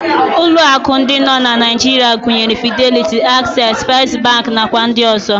Ụlọ akụ ndị nọ na Naijiria gụnyere Fideliti, Aksesị, Fest bankị, nakwa ndị ọzọ.